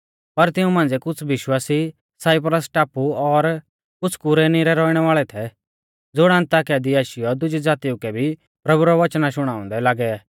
पर तिऊं मांझ़िऐ कुछ़ विश्वासी साइप्रस टापु और कुछ़ कुरेनी रै रौइणै वाल़ै थै ज़ुण अन्ताकिया दी आशीयौ दुजी ज़ातिऊ कै भी प्रभु रौ वचना शुणाउंदै लागै